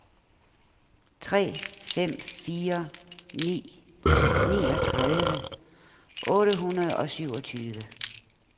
tre fem fire ni niogtredive otte hundrede og syvogtyve